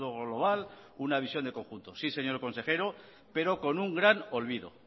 global una visión de conjunto sí señor consejero pero con un gran olvido